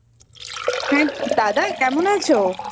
হ্যাঁ দাদা কেমন আছো?